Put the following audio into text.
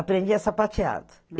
Aprendia sapateado.